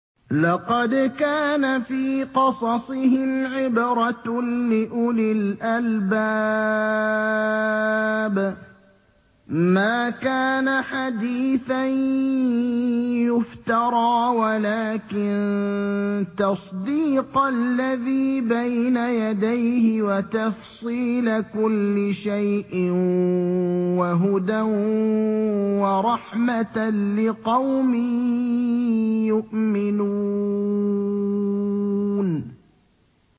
لَقَدْ كَانَ فِي قَصَصِهِمْ عِبْرَةٌ لِّأُولِي الْأَلْبَابِ ۗ مَا كَانَ حَدِيثًا يُفْتَرَىٰ وَلَٰكِن تَصْدِيقَ الَّذِي بَيْنَ يَدَيْهِ وَتَفْصِيلَ كُلِّ شَيْءٍ وَهُدًى وَرَحْمَةً لِّقَوْمٍ يُؤْمِنُونَ